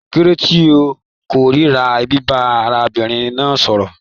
Kilode tí o kòrira biba arábìnrin náà sọ̀rọ̀?